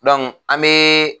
an be